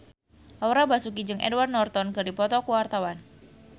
Laura Basuki jeung Edward Norton keur dipoto ku wartawan